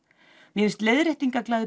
mér finnst